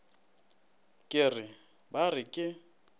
ke re ba re ke